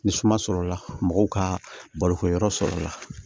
Ni suma sɔrɔla mɔgɔw ka balokɛyɔrɔ sɔrɔ la